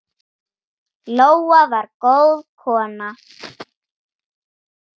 Lóa var góð kona.